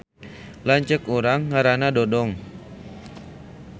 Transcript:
Lanceuk urang ngaranna Dodong